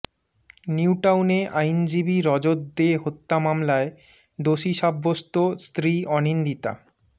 নিউটাউনে আইনজীবী রজত দে হত্যা মামলায় দোষী সাব্যস্ত স্ত্রী অনিন্দিতা